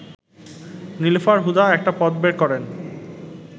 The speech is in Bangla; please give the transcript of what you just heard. নীলুফার হুদা একটা পথ বের করেন